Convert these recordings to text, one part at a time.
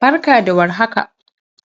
Barka da war haka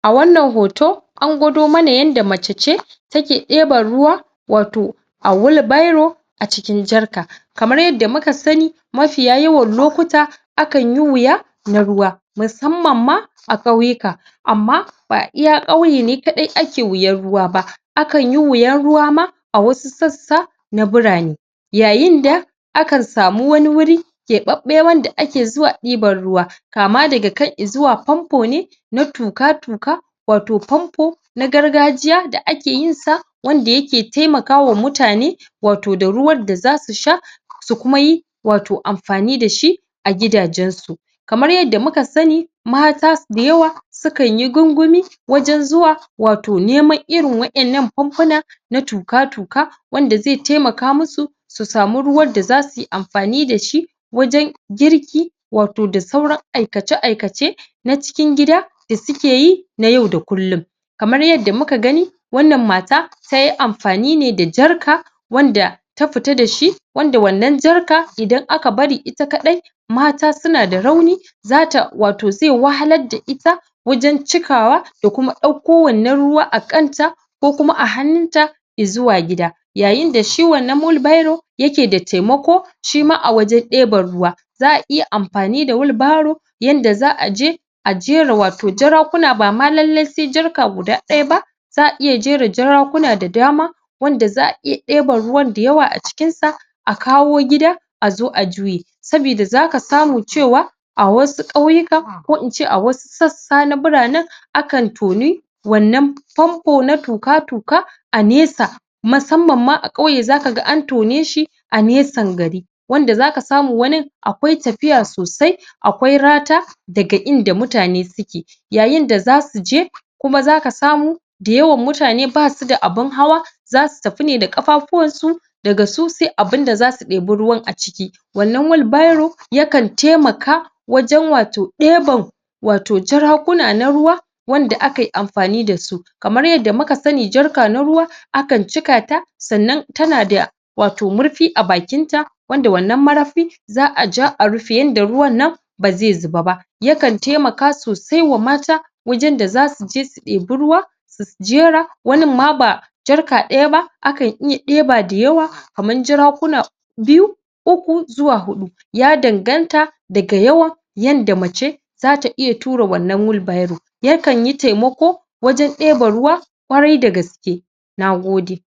a wannan hoto an gwado mana yadda mace ce take ɗeban ruwa wato a wheel barrow acikin jarka kamar yadda muka sani mafiya yawan lokuta a kanyi wuya na ruwa musamman ma a kyauwuka amma ba iya kyauye ne kaɗai ake wuyan ruwa ba a kanyi wuyan ruwa ma a wasu sassa na burane yayin da akan samu wani wuri ke ɓaɓɓe wanda ake zuwa ɗiban ruwa kama daga kai izuwa pampo ne na tuƙa-tuƙa wato pampo na gargajiya da ake yinsa wanda yake temakawa mutane wato da ruwan da zasu sha su kumayi wato amfani dashi agida jensu kamar yadda muka sani mata so dayawa sukanyi gungumi wajen zuwa wato neman irin waɗan nan pompuna na tuka-tuka wanda zai taimaka masu su sami ruwan da zasuyi amfani dashi wajen girki wato da sauran aikace-aikace na cikin gida da suke yi na yau da kullum kamar yadda muka gani wannan mata tayi amfani da jarko ki